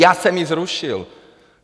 Já jsem ji zrušil.